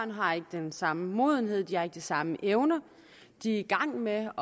har ikke den samme modenhed og de har ikke de samme evner de er i gang med at